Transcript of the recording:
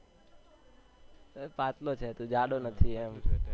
પાતળો છે તું જાડો નથી એમ